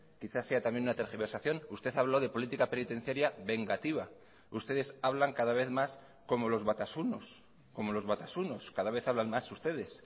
quizá sea también una tergiversación usted habló de política penitenciaria vengativa ustedes hablan cada vez más como los batasunos como los batasunos cada vez hablan más ustedes